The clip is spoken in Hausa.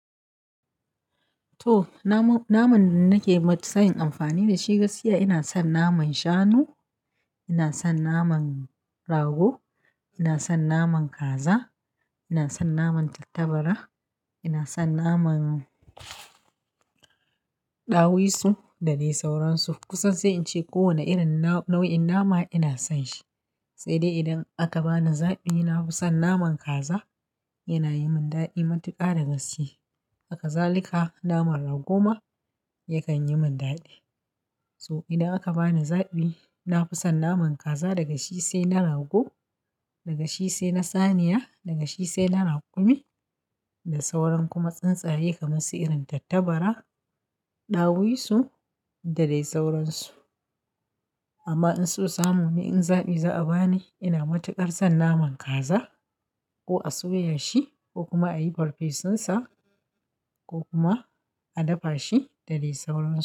To naman, naman nake matsayin amfani da shi gaskiya ina son naman shanu, ina son naman rago, ina son naman kaza, ina son naman tattabara, ina son naman dawisu da dai sauransu. Kusan sai in ce kowane irin nau'in nama ina son shi. Sai dai idan aka bani zaɓi, na fi son naman kaza, yana yi min daɗi matuƙa da gaske. Hakazalika naman rago ma yakan yi min daɗi. So idan aka bani zaɓi, na fi son naman kaza daga shi sai na rago, daga shi sai na saniya, daga shi sai na raƙumi da sauran kuma tsuntsaye kamar su irin tattabara, dawisu da dai sauransu. Amma in sosamuni in zaɓi za a bani, ina matuƙar son naman kaza ko a soya shi ko kuma a yi farfesunsa ko kuma a dafa shi da dai sauransu.